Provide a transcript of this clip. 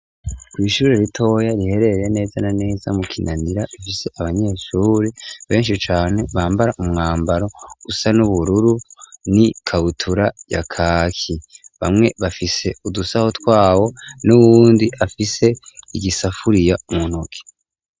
Kw'ishuri ritoya riherereye neza na neza mu kinanira ifise abanyeshuri benshi cane bambara umwambaro usa n'ubururu n'ikabutura ya kaki bamwe bafise udusaho twabo n'ubundi afise igisafuriya mu ntoki.